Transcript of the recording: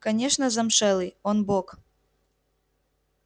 конечно замшелый он бог